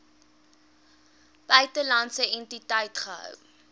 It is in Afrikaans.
buitelandse entiteit gehou